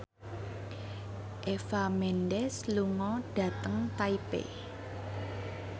Eva Mendes lunga dhateng Taipei